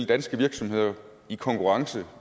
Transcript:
danske virksomheder i konkurrence